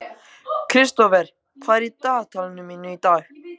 Kristófer, hvað er í dagatalinu mínu í dag?